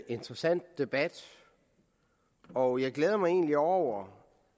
interessant debat og jeg glæder mig egentlig over